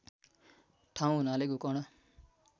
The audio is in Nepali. ठाउँ हुनाले गोकर्ण